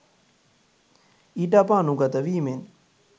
ඊට අප අනුගත වීමෙන්